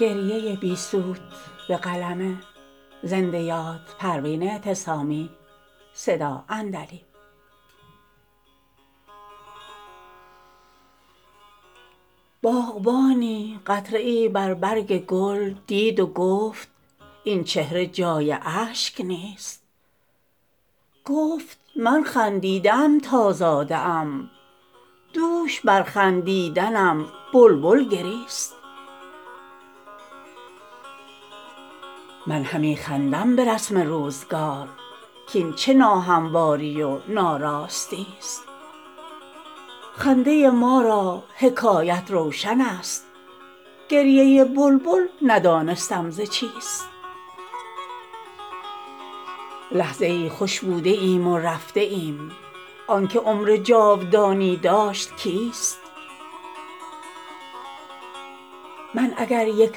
باغبانی قطره ای بر برگ گل دید و گفت این چهره جای اشک نیست گفت من خندیده ام تا زاده ام دوش بر خندیدنم بلبل گریست من همی خندم برسم روزگار کاین چه ناهمواری و ناراستیست خنده ما را حکایت روشن است گریه بلبل ندانستم ز چیست لحظه ای خوش بوده ایم و رفته ایم آنکه عمر جاودانی داشت کیست من اگر یک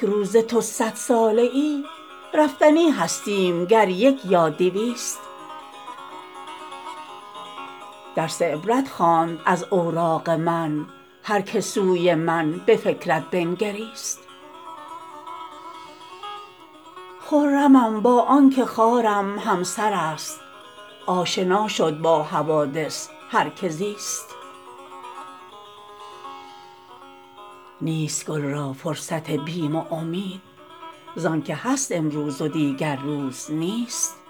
روزه تو صد ساله ای رفتنی هستیم گر یک یا دویست درس عبرت خواند از اوراق من هر که سوی من بفکرت بنگریست خرمم با آنکه خارم همسر است آشنا شد با حوادث هر که زیست نیست گل را فرصت بیم و امید زانکه هست امروز و دیگر روز نیست